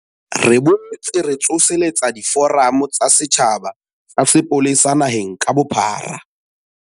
Re boetse re tsoseletsa diforamo tsa setjhaba tsa sepolesa naheng ka bophara.